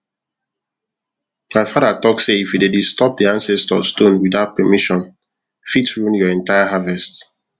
my father talk say if you dey disturb the ancestor stone without permission fit ruin your entire harvest